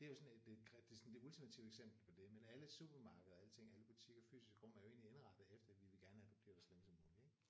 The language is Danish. Det er jo sådan et et det er sådan det ultimative eksempel på det men alle supermarkeder og alle ting alle butikker fysiske rum er jo egentlig indrettet efter vi vil gerne have du bliver der så længe som muligt ik